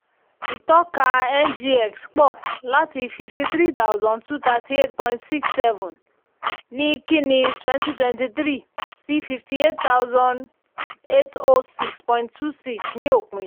ìtọ́ka ngx pọ̀ láti fifty three thousand two thirty eight point six seven ní kínní twenty twenty three sí fifty eight thousand eight oh six point two six ní òpin.